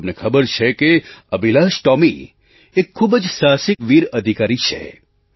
તમને ખબર છે કે અભિલાષ ટૉમી એક ખૂબ જ સાહસીવીર અધિકારી છે